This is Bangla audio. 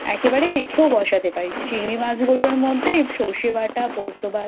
একেবারে মেখেও বসাতে পারিস চিংড়ি মাছগুলো মধ্যে সর্ষে বাটা ,পোস্ত বাটা,